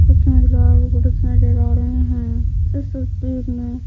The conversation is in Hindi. कुछ महिलाएं नजर आ रहे है इस तस्वीर में--